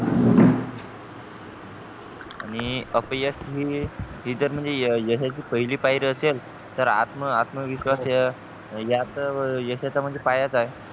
आणि अपयश ही हि तर म्हणजे यशाची पहिली पायरी असेल तर आत्मविश्वास ह्या तर यशाचा म्हणजे पाया चं आहे